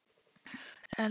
Elsku amma Ingunn.